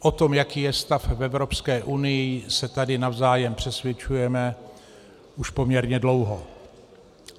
O tom, jaký je stav v Evropské unii, se tady navzájem přesvědčujeme už poměrně dlouho.